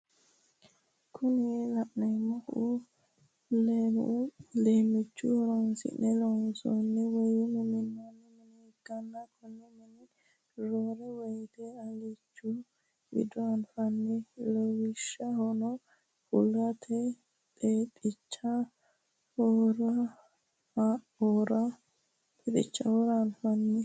Kuni la'neemohu leemmicho horonsi'ne loonsanni woye minanni mine ikkanna konne mine roore woyiite alichu wido anfanni lawishshaho hulate, xexicha"oora anfanni.